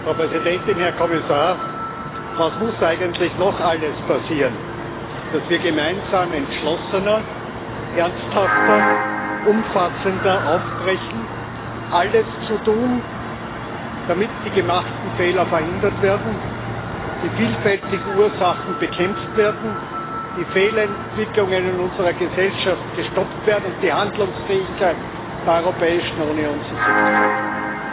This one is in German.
Frau Präsidentin, Herr Kommissar! Was muss eigentlich noch alles passieren, dass wir gemeinsam entschlossener, ernsthafter, umfassender aufbrechen, alles zu tun, damit die gemachten Fehler verhindert werden, die vielfältigen Ursachen bekämpft werden, die Fehlentwicklungen in unserer Gesellschaft gestoppt werden und die Handlungsfähigkeit der Europäischen Union sichergestellt wird?